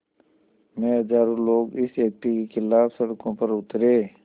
में हज़ारों लोग इस एक्ट के ख़िलाफ़ सड़कों पर उतरे